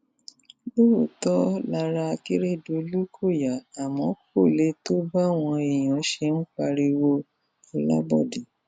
lóòótọ lára akérèdọlù kò yá àmọ kò lè tó báwọn èèyàn ṣe ń pariwo olabodè